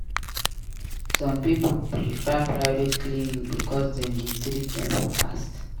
Some pipo prefer private clinic bicos dem dey treat dem fast.